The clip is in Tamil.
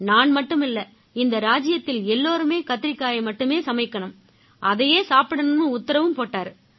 நான் மட்டுமில்லை நம்ம ராஜ்ஜியத்தில எல்லாருமே கத்திரிக்காயை மட்டுமே சமைக்கணும் அதையே சாப்பிடணும்னும் உத்தரவு போட்டாரு